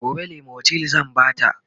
gobe limotyl zan Bata